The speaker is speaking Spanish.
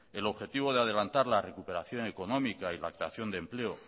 el objetivo de adelantar la recuperación económica y la creación de empleo